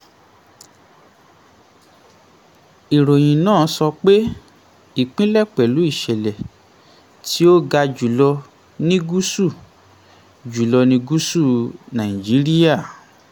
ìròyìn náà sọ pé ìpínlẹ̀ pẹ̀lú ìṣẹ̀lẹ̀ tí um ó ga jùlọ ní gúúsù jùlọ ní gúúsù nàìjíríà.